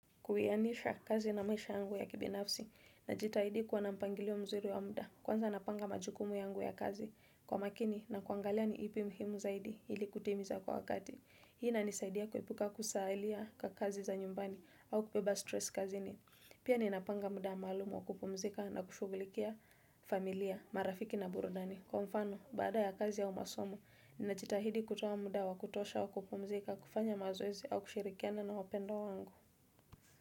Kuhianisha kazi na maisha yangu ya kibinafsi, najitahidi kuwa nampangilio mzuri wa muda, kwanza napanga majukumu yangu ya kazi kwa makini na kuangalia ni ipi muhimu zaidi, hili kutimiza kwa wakati. Hii inanisaidia kuepuka kusaalia kakazi za nyumbani au kubeba stress kazi ni. Pia ninapanga muda malumu wa kupumzika na kushugulikia familia, marafiki na burudani. Kwa mfano, baada ya kazi ya umasomo, nina chitahidi kutoa muda wa kutosha wa kupumzika, kufanya mazoezi au kushirikiana na wapendo wangu.